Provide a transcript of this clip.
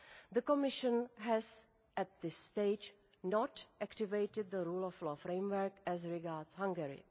The Commission has at this stage not activated the Rule of Law Framework as regards Hungary.